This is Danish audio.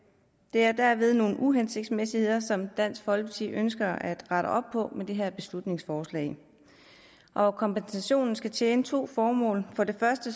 er derved nogle uhensigtsmæssigheder som dansk folkeparti ønsker at rette op på med det her beslutningsforslag og kompensationen skal tjene to formål for det første